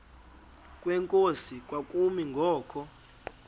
kwenkosi kwakumi ngoku